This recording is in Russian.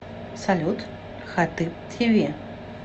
салют хатыб ти ви